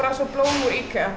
blóm úr IKEA